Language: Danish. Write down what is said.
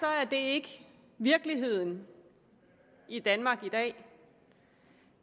er det ikke virkeligheden i danmark i dag